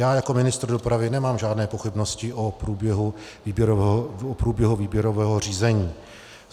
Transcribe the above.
Já jako ministr dopravy nemám žádné pochybnosti o průběhu výběrového řízení.